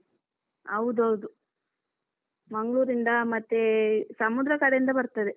ಹೌದೌದು ಮಂಗ್ಳೂರಿಂದ ಮತ್ತೆ ಸಮುದ್ರ ಕಡೆಯಿಂದ ಬರ್ತದೆ.